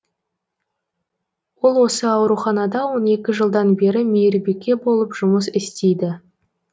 ол осы ауруханада он екі жылдан бері мейірбике болып жұмыс істейді